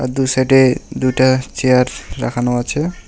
দুই সাইডে দুইটা চেয়ার রাখানো আছে।